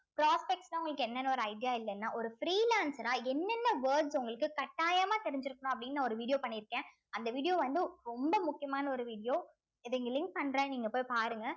prospects ன்னா உங்களுக்கு என்னன்னு ஒரு idea இல்லைன்னா ஒரு free lancer ஆ என்னென்ன words உங்களுக்கு கட்டாயமா தெரிஞ்சிருக்கணும் அப்படின்னு நா ஒரு video பண்ணியிருக்கேன் அந்த video வந்து ரொம்ப முக்கியமான ஒரு video இத இங்க link பண்றேன் நீங்க போய் பாருங்க